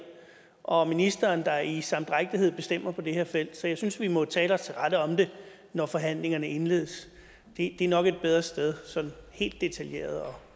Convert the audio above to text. og ministeren der i samdrægtighed bestemmer på det her felt så jeg synes at vi må tale os til rette om det når forhandlingerne indledes det er nok et bedre sted sådan helt detaljeret